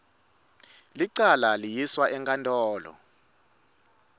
lelicala liyiswa enkantolo